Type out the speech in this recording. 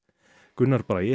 Gunnar Bragi